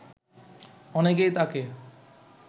অনেকেই তাকে